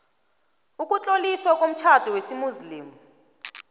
ukutloliswa komtjhado wesimuslimu